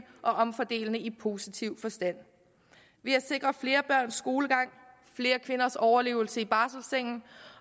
og omfordelende i positiv forstand ved at sikre flere børns skolegang og flere kvinders overlevelse i barselsengen